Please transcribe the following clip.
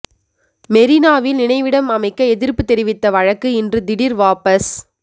மெரினாவில் நினைவிடம் அமைக்க எதிர்ப்பு தெரிவித்த வழக்கு இன்று திடீர் வாபஸ்